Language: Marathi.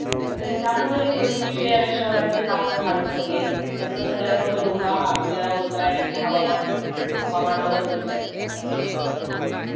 तसेच त्यामुळे हे पृथ्वीचे आणि शहरांचे तापमान वाढत चालले आहे आणि त्याचा सगळ्यात मोठा धोका हा आपल्याला होतो आणि आपले हवामान हवामानावर होतोय त्याचा परिणाम सगळ्यात जास्त